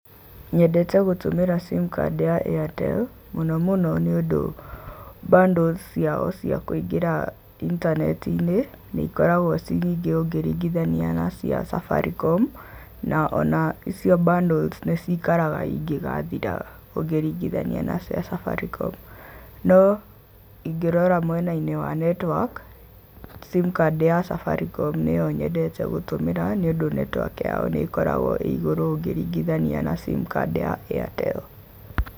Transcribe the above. Nyendete gũtũmĩra sim card ya Airtel, Mũno mũno nĩũndũ, bundles ciao cia kũingĩra intaneti-inĩ nĩ ikoragwo ciĩ nyingĩ ũngĩringithania na cia Safaricom, na o na icio bundles nĩ cikaraga ingĩgathira ũngĩringithania na cia Safaricom. No ingĩrora mwena-inĩ wa network, sim card ya Safaricom nĩyo nyendete gũtũmĩra nĩũndũ network yao nĩ ĩkoragwo ĩ igũrũ ũngĩringithania na simcard ya Airtel.